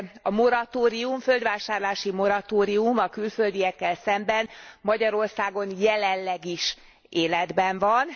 A moratórium, a földvásárlási moratórium a külföldiekkel szemben Magyarországon jelenleg is életben van.